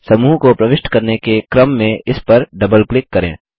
समूह को प्रविष्ट करने के क्रम में इस पर डबल क्लिक करें